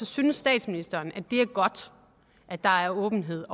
synes statsministeren at det er godt at der er åbenhed